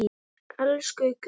Elsku gull.